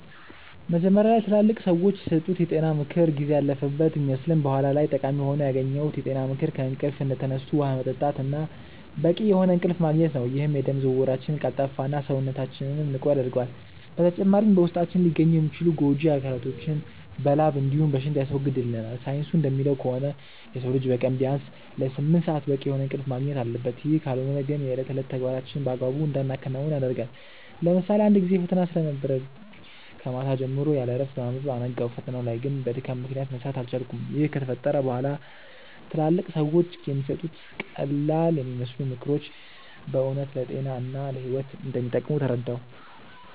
መጀመሪያ ላይ ትላልቅ ሰዎች የሰጡት የጤና ምክር ጊዜ ያለፈበት ቢመስልም በኋላ ላይ ጠቃሚ ሆኖ ያገኘሁት የጤና ምክር ከእንቅልፍ እንደተነሱ ውሃ መጠጣት እና በቂ የሆነ እንቅልፍ ማግኘት ነው፤ ይህም የደም ዝውውራችንን ቀልጣፋ እና፣ ሰውነታችንንም ንቁ ያደርገዋል። በተጨማሪም በውስጣችን ሊገኙ የሚችሉ ጎጂ አካላቶችን በላብ እንዲሁም በሽንት ያስወግድልናል። ሳይንሱ እንደሚለው ከሆነ የሰው ልጅ በቀን ቢያንስ ለስምንት ሰአት በቂ የሆነ እንቅልፍ ማግኘት አለበት፤ ይህ ካልሆነ ግን የእለት ተዕለት ተግባራችንን በአግባቡ እንዳናከናውን ያደርገናል። ለምሳሌ አንድ ጊዜ ፈተና ስለነበረብኝ ከማታ ጀምሮ ያለእረፍት በማንበብ አነጋው። ፈተናው ላይ ግን በድካም ምክንያት መስራት አልቻልኩም። ይህ ከተፈጠረ በኋላ ትላልቅ ሰዎች የሚሰጡት ቀላልየሚመስሉ ምክሮች በእውነት ለጤና እና ለህይወት እንደሚጠቅሙ ተረዳሁ።